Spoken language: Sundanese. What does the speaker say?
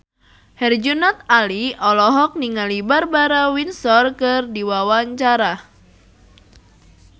Herjunot Ali olohok ningali Barbara Windsor keur diwawancara